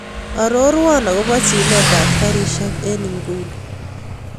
Arorwon akobo chilet ab garishek en ingunii